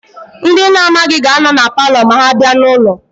Ndị ị na-amaghị ga-anọ na paalọ ma ha bịa n'ụlọ.